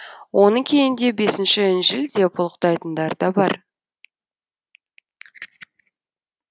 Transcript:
оны кейінде бесінші інжіл деп ұлықтайтындар да бар